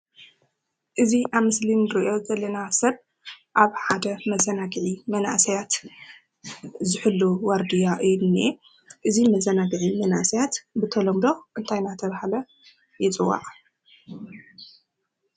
እዚ ኣብ ምስሊ ንርኦ ዘለና ሰብ ኣብ ሓደ መዘናግዒ መናኣስያት ዝሕሉ ዋርድያ እዩ ዝንሂ። እዚ መዘናግዒ መነኣስያት ብተለምዶ እንታይ እንዳተበሃለ ይፅዋዒ?